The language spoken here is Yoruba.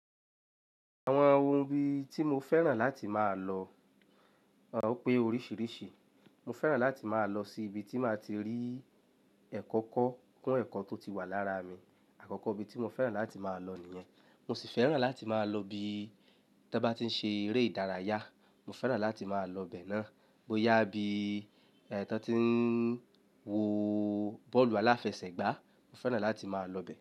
Àwọn ohun bí tí mo fẹ́ràn láti máa lọ, ò pé oríṣìíríṣìí. Mo fẹ́ràn láti máa lọ sí ibi tí máa ti rí ẹ̀kọ́ kọ́ kún ẹ̀kọ́ tó ti wà lára mi. Àkọ́kọ́ ibi tí mo fẹ́ràn láti máa lọ nìyẹn. Mo sì fẹ́ràn láti máa lọ ibi tí wọ́n bá ti ń ṣe eré ìdárayá, mo fẹ́ràn láti máa lọ bẹ́ẹ̀ náà. Bóyá bí ẹni tí wọ́n ti ń wo bọ́ọ̀lù aláfẹsẹ̀gbá, mo fẹ́ràn láti máa lọ bẹ́ẹ̀.